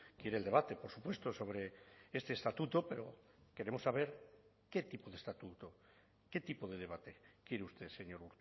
quiere el debate por supuesto sobre este estatuto pero queremos saber qué tipo de estatuto qué tipo de debate quiere usted señor